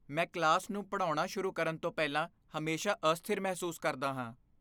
ਮੈਂ ਕਲਾਸ ਨੂੰ ਪੜ੍ਹਾਉਣਾ ਸ਼ੁਰੂ ਕਰਨ ਤੋਂ ਪਹਿਲਾਂ ਹਮੇਸ਼ਾਂ ਅਸਥਿਰ ਮਹਿਸੂਸ ਕਰਦਾ ਹਾਂ।